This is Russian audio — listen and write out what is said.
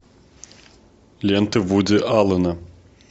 ленты вуди аллена